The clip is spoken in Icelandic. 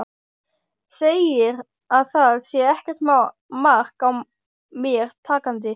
Segir að það sé ekkert mark á mér takandi.